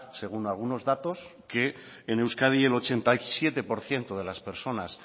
según algunos datos que en euskadi el ochenta y siete por ciento de las personas